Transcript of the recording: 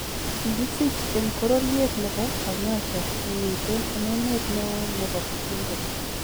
Kikisich en bororyet nebo Kanyosha nemiteen en emet neon nebo Bujumbura.